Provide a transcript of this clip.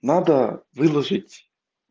надо выложить